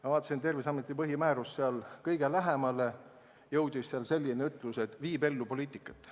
Ma vaatasin Terviseameti põhimäärust ja seal jõudis sellele kõige lähemale ütlus, et amet viib ellu poliitikat.